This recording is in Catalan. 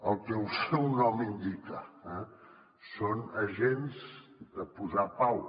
el que el seu nom indica eh són agents de posar pau